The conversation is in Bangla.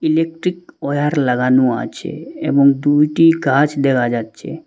ইলেকট্রিক ওয়্যার লাগানো আছে এবং দুইটি গাছ দেখা যাচ্ছে।